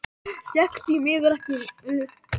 Gekk því miður ekki upp.